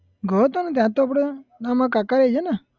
ગયો તો ને ત્યાં તો અપડે ના મારા કાકાએ છે ને